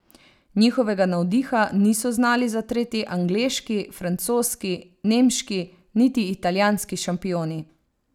Njihovega navdiha niso znali zatreti angleški, francoski, nemški niti italijanski šampioni.